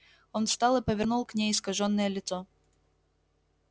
он встал и повернул к ней искажённое лицо